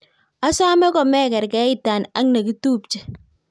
Osome komekerkeita ak nekitupche